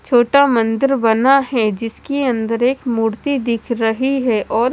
छोटा मंदिर बना है जिसके अंदर एक मूर्ति दिख रही है और--